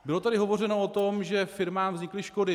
Bylo tady hovořeno o tom, že firmám vznikly škody.